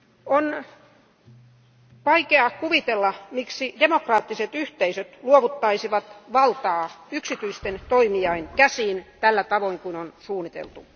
On vaikea kuvitella, miksi demokraattiset yhteisöt luovuttaisivat valtaa yksityisten toimijoiden käsiin tällä tavoin kun on suunniteltu.